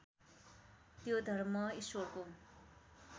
त्यो धर्म ईश्वरको